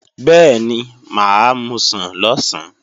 Bẹ́ẹ̀ni, mà á musàn lọ̀sán